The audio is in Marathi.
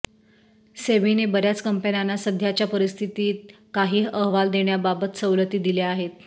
सेबीने बऱ्याच कंपन्यांना सध्याच्या परिस्थितीत काही अहवाल देण्याबाबत सवलती दिल्या आहेत